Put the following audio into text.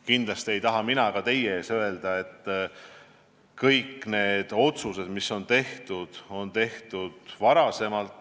Kindlasti ei taha mina teie ees öelda, et kõik vead, mis on tehtud, on tehtud varem.